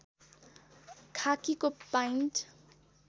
खाकीको pant